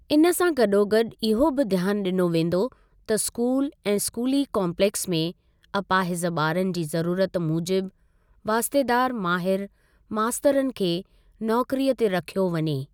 इन सां गॾोगॾु इहो बि ध्यान ॾिनो वेंदो त स्कूल ऐं स्कूली काम्पलेक्स में अपाहिज़ ॿारनि जी ज़रूरत मूजिबि वास्तेदार माहिर मास्तरनि खे नौकरीअ ते रखियो वञे।